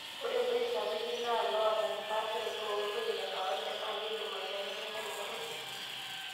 Ore loik sapukin naa loota empaasharoto oloik lekawaida na keidim aibelekenya rubat osesen.